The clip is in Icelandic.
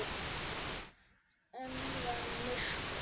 Enn var myrkur.